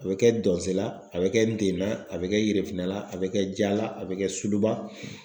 A bɛ kɛ Dɔzela la a bɛ kɛ Ntenan a bɛ kɛ Yerefinɛla a bɛ kɛ Jala a bɛ kɛ Suluba.